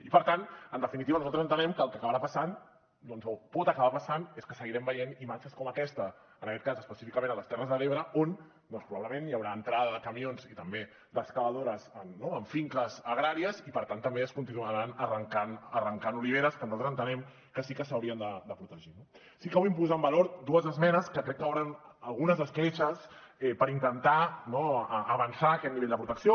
i per tant en definitiva nosaltres entenem que el que acabarà passant doncs o pot acabar passant és que seguirem veient imatges com aquesta en aquest cas específicament a les terres de l’ebre on doncs probablement hi haurà entrada de camions i també d’excavadores a finques agràries i per tant també es continuaran arrencant oliveres que nosaltres entenem que sí que s’haurien de protegir no sí que vull posar en valor dues esmenes que crec que obren algunes escletxes per intentar no avançar aquest nivell de protecció